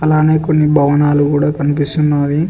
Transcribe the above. అలానే కొన్ని భవనాలు కూడా కనిపిస్తూ ఉన్నావి.